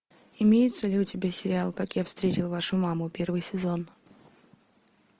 имеется ли у тебя сериал как я встретил вашу маму первый сезон